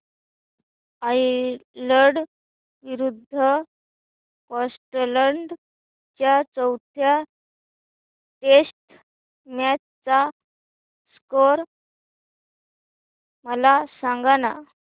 Ireland विरूद्ध Scotland च्या चौथ्या टेस्ट मॅच चा स्कोर मला सांगना